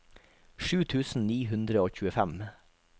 sju tusen ni hundre og tjuefem